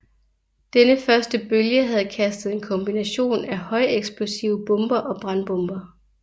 Denne første bølge havde kastet en kombination af højeksplosive bomber og brandbomber